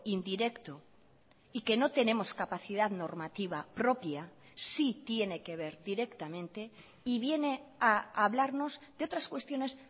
indirecto y que no tenemos capacidad normativa propia sí tiene que ver directamente y viene a hablarnos de otras cuestiones